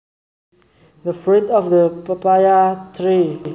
The fruit of the papaya tree